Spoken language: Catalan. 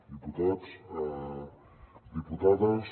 diputats diputades